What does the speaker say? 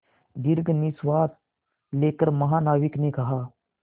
दीर्घ निश्वास लेकर महानाविक ने कहा